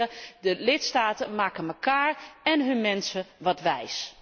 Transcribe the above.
Dames en heren, de lidstaten maken elkaar en hun mensen wat wijs.